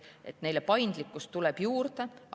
Paindlikkust tuleb juurde.